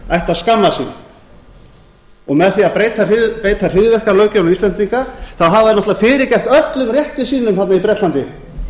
ættu að skammast sín með því að beita hryðjuverkalöggjöfinni á íslendinga hafa þeir náttúrlega fyrirgert öllum rétti sínum þarna í bretlandi